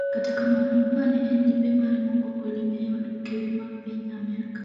kata kamano, mae ne en limbe mare mokwongo lime e od ker ma piny Amerka